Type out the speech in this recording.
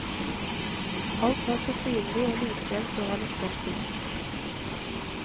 Alt var så synlig, og likevel så han ikke en ting.